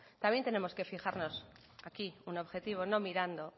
también tenemos que fijarnos aquí un objetivo no mirando